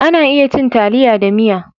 A na iya cin taliya da miya